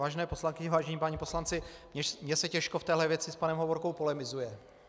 Vážené poslankyně, vážení páni poslanci, mně se těžko v téhle věci s panem Hovorkou polemizuje.